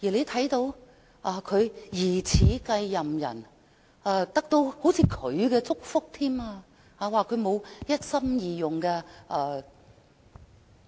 他的疑似繼任人彷如得到他祝福，被指沒有一心二用。